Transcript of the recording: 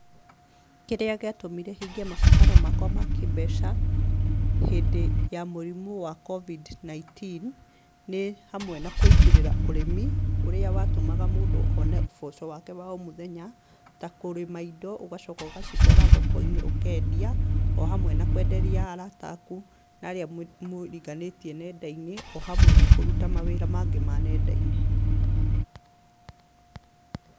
Kĩrĩa gĩatũmire hingie mabataro makwa ma kĩmbeca hĩndĩ ya mũrimũ wa Covid-19 nĩ hamwe na kũingĩrĩra ũrĩmi ũrĩa watũmaga mũndũ one ũboco wake wa o mũthenya, ta kũrĩma indo ũgacoka ũgacitwara thoko-inĩ ũkendia, o hamwe na kwenderia arata aku hamwe na arĩa mũriganĩtie nenda-inĩ o hamwe na kũruta mawĩra maingĩ ma nenda-inĩ.